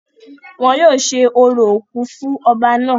wọn yóò ṣe orò òkú fún ọba náà